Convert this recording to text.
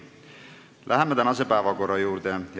Läheme tänase päevakorra juurde.